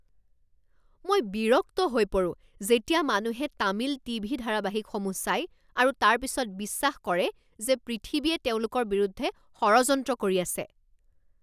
মই বিৰক্ত হৈ পৰো যেতিয়া মানুহে তামিল টিভি ধাৰাবাহিকসমূহ চাই আৰু তাৰ পিছত বিশ্বাস কৰে যে পৃথিৱীয়ে তেওঁলোকৰ বিৰুদ্ধে ষড়যন্ত্ৰ কৰি আছে।